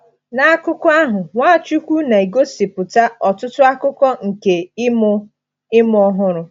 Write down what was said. Na akụkọ ahụ, Nwachukwu na-egosipụta ọtụtụ akụkụ nke “ịmụ “ịmụ ọhụrụ.”